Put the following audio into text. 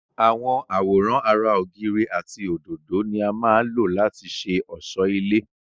àwọn àwòrán ara ògiri àti òdòdó ni á má lò láti ṣe ọ̀sọ́ ilé